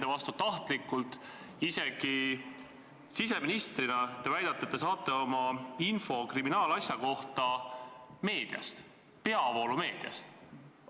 Te väidate, et isegi siseministrina te saate oma info kriminaalasja kohta meediast, peavoolumeediast.